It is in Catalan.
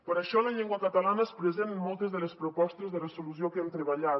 per això la llengua catalana és present en moltes de les propostes de resolució que hem treballat